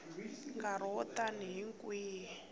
nkarhi wo tani hi kwihi